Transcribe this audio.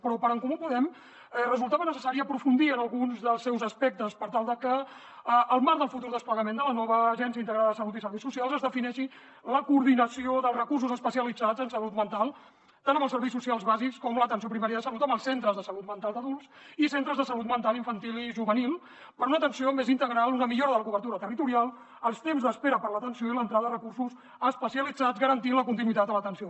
però per en comú podem resultava necessari aprofundir en alguns dels seus aspectes per tal de que al marc del futur desplegament de la nova agència integrada de salut i serveis socials es defineixi la coordinació dels recursos especialitzats en salut mental tant amb els serveis socials bàsics com en l’atenció primària de salut amb els centres de salut mental d’adults i centres de salut mental infantil i juvenil per a una atenció més integral una millora de la cobertura territorial dels temps d’espera per a l’atenció i l’entrada de recursos especialitzats garantint la continuïtat de l’atenció